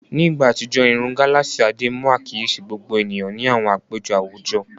Ní ìgbà àtijọ́, irun gálààsì Adé mú àkíyèsí gbogbo ènìyàn ní àwọn àpéjọ àwùjọ.